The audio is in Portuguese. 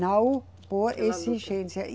Não por exigência. E